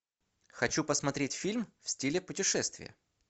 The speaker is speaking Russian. хочу посмотреть фильм в стиле путешествия